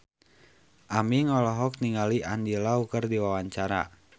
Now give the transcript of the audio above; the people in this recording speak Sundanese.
Aming olohok ningali Andy Lau keur diwawancara